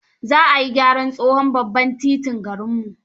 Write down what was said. za ayi gyaran tsohon babban totin garinmu.